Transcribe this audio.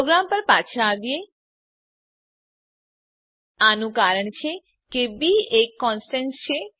programme પર પાછા આવીએ આનું કારણ છે કે બી એક કોનસ્ટંટ છે